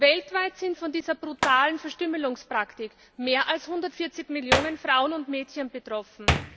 Weltweit sind von dieser brutalen Verstümmelungspraktik mehr als 140 Millionen Frauen und Mädchen betroffen.